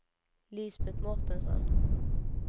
Lisbet Mårtensson